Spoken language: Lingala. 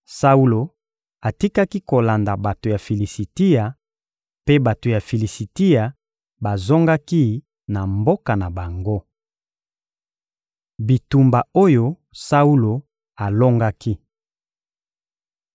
Saulo atikaki kolanda bato ya Filisitia, mpe bato ya Filisitia bazongaki na mboka na bango. Bitumba oyo Saulo alongaki